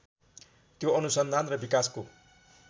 त्यो अनुसन्धान र विकासको